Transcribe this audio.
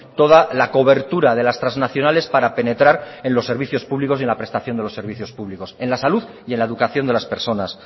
toda la cobertura de las transnacionales para penetrar en los servicios públicos y en la prestación de los servicios públicos en la salud y en la educación de las personas